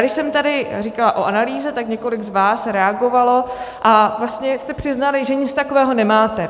Když jsem tady říkala o analýze, tak několik z vás reagovalo a vlastně jste přiznali, že nic takového nemáte.